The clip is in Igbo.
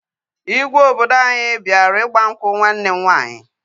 Igwe obodo anyị bịara ịgba nkwụ nwanne m nwaanyị